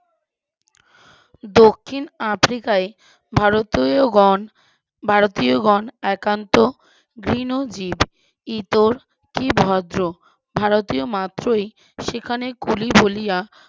দক্ষিণ আফ্রিকায় ভারতীয় গণ ভারতীয় গণ একান্ত যে নজির ইতর কি ভদ্র ভারতীয় মাত্রই সেখানে কলি জ্বলিয়া,